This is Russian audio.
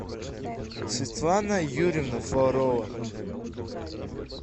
светлана юрьевна фролова